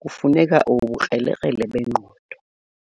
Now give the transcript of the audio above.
kufuneka ubukrelekrele bengqondo